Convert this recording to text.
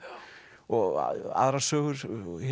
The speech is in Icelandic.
og aðrar sögur